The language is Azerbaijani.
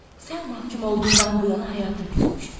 Sən məhkum olduğundan bu yana həyata küsmüş.